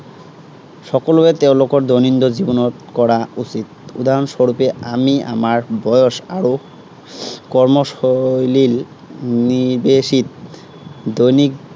সকলোৱে তেওঁলোকৰ দৈনন্দিন জীৱনত কৰা উচিত। উদাহৰস্বৰূপে আমি আমাৰ বয়স আৰু কৰ্মশৈলী নিৰ্দেশিত দৈনিক